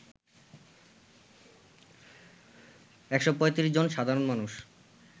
১৩৫ জন সাধারণ মানুষ